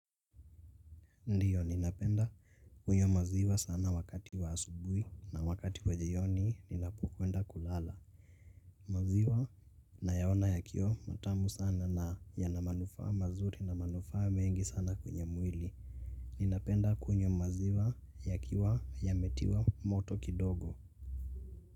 Ndio ninapenda kunywa maziwa sana wakati wa asubuhi na wakati kwenye yoni ninapokwenda kulala. Maziwa nayaona yakiwa matamu sana na yana manufaa mazuri na manufaa mengi sana kwenye mwili. Ninapenda kunywa maziwa ya kiwa yametiwa moto kidogo.